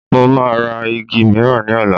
Mo máa ra igi miran ní ọ̀la